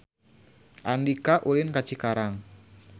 Andika ulin ka Cikarang